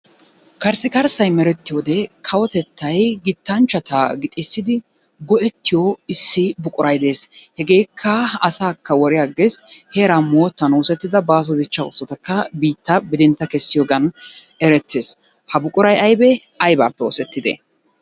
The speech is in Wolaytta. Karssikarssay merettiyode kawotettay gittanchchata gixissidi go'ettiyo issi buquray des. Hegeekka asaakka woriyagges heeraa moottan oosettida baaso dichchaa oosotakka biitta bidintta kessiyogan erettes. Ha buquray ayibee? Ayibaappe oosettidee?